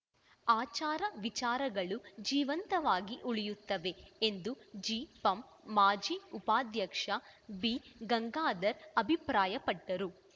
ಆಚಾರ ವಿಚಾರಗಳು ಜೀವಂತವಾಗಿ ಉಳಿಯತ್ತವೆ ಎಂದು ಜಿಪಂ ಮಾಜಿ ಉಪಾಧ್ಯಕ್ಷ ಬಿಗಂಗಾಧರ್‌ ಅಭಿಪ್ರಾಯಪಟ್ಟರು